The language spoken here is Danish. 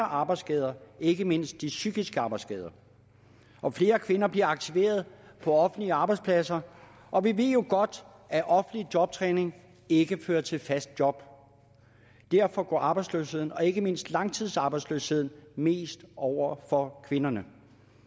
arbejdsskader ikke mindst psykiske arbejdsskader og flere kvinder bliver aktiveret på offentlige arbejdspladser og vi ved jo godt at offentlig jobtræning ikke fører til et fast job derfor går arbejdsløsheden og ikke mindst langtidsarbejdsløsheden mest ud over kvinderne